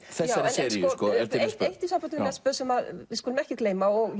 seríu en eitt í sambandi við Nesbø sem við skulum ekki gleyma og